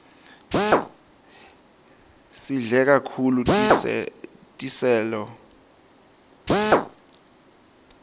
sidle kahulu tiselo